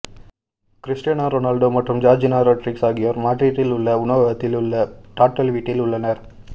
Cristiano Ronaldo மற்றும் Georgina Rodriguez ஆகியோர் மாட்ரிட்டில் உள்ள உணவகத்தில் உள்ள டாட்டல் வீட்டில் உள்ளனர்